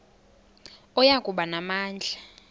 oya kuba namandla